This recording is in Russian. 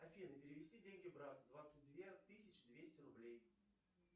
афина перевести деньги брату двадцать две тысячи двести рублей